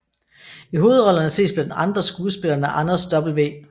I hovedrollerne ses blandt andre skuespillerne Anders W